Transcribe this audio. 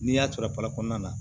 N'i y'a to papa na